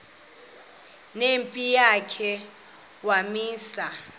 nempi yakhe wamisa